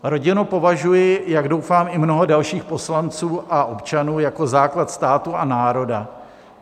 Rodinu považuji, jak doufám, i mnoho dalších poslanců a občanů, jako základ státu a národa.